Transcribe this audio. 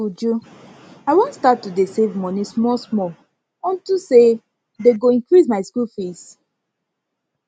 uju i wan start to dey save money small small unto say dey go increase my school fees my school fees